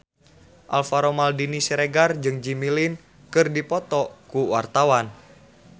Alvaro Maldini Siregar jeung Jimmy Lin keur dipoto ku wartawan